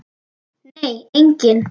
Nei, enginn